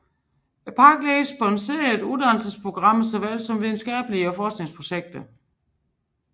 Parkledelsen sponsorerer uddannelsesprogrammer såvel som videnskabelige og forskningsprojekter